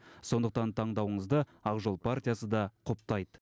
сондықтан таңдауыңызды ақжол партиясы да құптайды